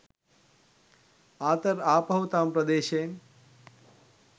Arthur ආපහු තම ප්‍රදේශයෙන්